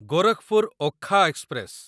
Gorakhpur Okha express